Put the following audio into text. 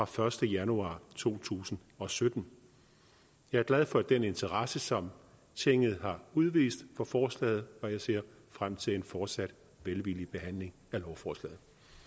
første januar to tusind og sytten jeg er glad for den interesse som tinget har udvist for forslaget og jeg ser frem til en fortsat velvillig behandling af lovforslaget